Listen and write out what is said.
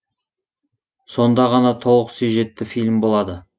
сонда ғана толық сюжетті фильм болады